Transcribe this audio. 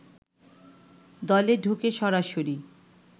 দলে ঢুকে সরাসরি